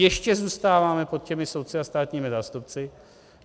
Ještě zůstáváme pod těmi soudci a státními zástupci.